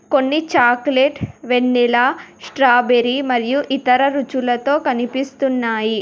కొన్ని చాక్లెట్ వెన్నెల స్ట్రాబెరీ మరియు ఇతర రుచులతో కనిపిస్తున్నాయి.